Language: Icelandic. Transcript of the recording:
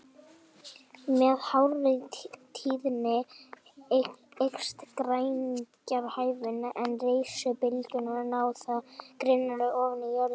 Með hárri tíðni eykst greiningarhæfnin, en rafsegulbylgjurnar ná þá grynnra ofan í jörðina.